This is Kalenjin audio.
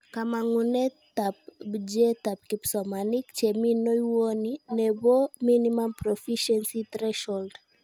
Kamangunetan bjeetab kipsomanink chemi nywony nebo Minimum Proficiency Threshold